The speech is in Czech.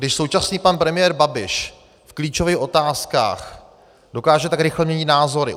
Když současný pan premiér Babiš v klíčových otázkách dokáže tak rychle měnit názory.